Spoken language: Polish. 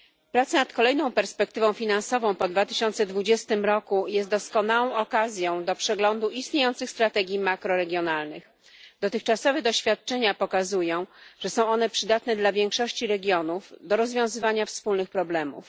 Prace nad kolejną perspektywą finansową po 2020 roku są doskonałą okazją do przeglądu istniejących strategii makroregionalnych. Dotychczasowe doświadczenia pokazują, że są one przydatne dla większości regionów do rozwiązywania wspólnych problemów.